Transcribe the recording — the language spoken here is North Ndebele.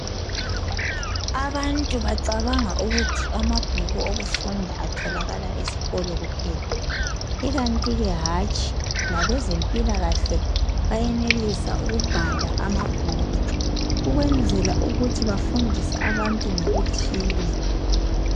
abantu bacabanga ukuthi amabhuku wokufunda atholakala esikolo kuphela ikantike hatshi labezempilakahle benelisa ukubhala amabhuku ukwenzela ukuba befundise abantu ngokuthile